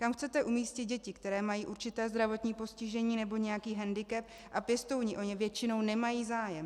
Kam chcete umístit děti, které mají určité zdravotní postižení nebo nějaký hendikep a pěstouni o ně většinou nemají zájem?